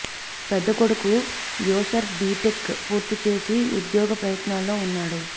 పెద్ద కొడుకు యాసర్ బీటెక్ పూర్తి చేసి ఉద్యోగ ప్రయత్నాల్లో ఉన్నాడు